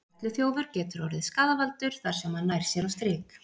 perluþjófur getur orðið skaðvaldur þar sem hann nær sér á strik